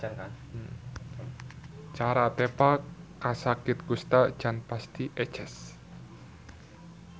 Cara tepa kasakit kusta can pati eces.